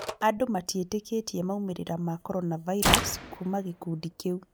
Andũ matiĩtĩkĩtie maumĩrĩra ma corona virus kuuma kurĩ gĩkundi kĩu